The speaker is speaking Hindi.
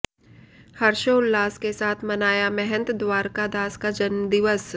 हर्षोल्लास के साथ मनाया महंत द्वारका दास का जन्मदिवस